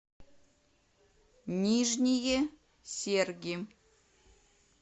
нижние серги